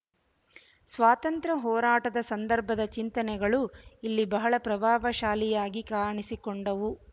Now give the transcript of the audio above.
ಸ್ವಾತಂತ್ರ್ಯ ಹೋರಾಟದ ಸಂದರ್ಭದ ಚಿಂತನೆಗಳು ಇಲ್ಲಿ ಬಹಳ ಪ್ರಭಾವಶಾಲಿಯಾಗಿ ಕಾಣಿಸಿಕೊಂಡವು